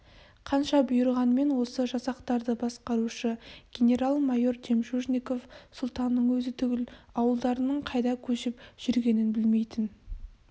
қанша бұйырғанмен осы жасақтарды басқарушы генерал-майор жемчужников сұлтанның өзі түгіл ауылдарының қайда көшіп жүргенін білмейтін